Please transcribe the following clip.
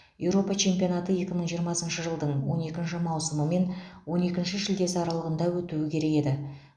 еуропа чемпионаты екі мың жиырмасыншы жылдың он екінші маусымы мен он екінші шілдесі аралығында өтуі керек еді